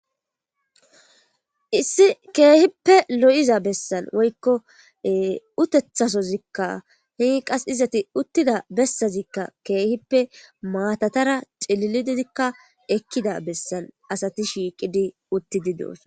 Issi keehippe lo7iza bessan woykko utethasozikka hi qas izati uttida bessazikka keehippe maatatara cilili didikka ekkida bessan asati shiiqidi uttidi deos